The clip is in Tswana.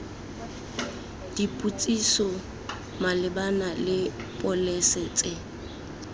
dipotsiso malebana le pholese tse